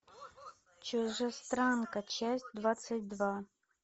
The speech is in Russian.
чужестранка часть двадцать два